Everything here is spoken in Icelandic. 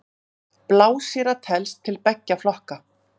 Blásýra telst til beggja flokka.